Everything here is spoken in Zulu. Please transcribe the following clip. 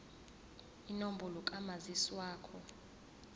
inombolo kamazisi wakho